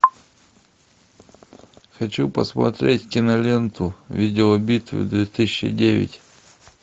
хочу посмотреть киноленту видеобитва две тысячи девять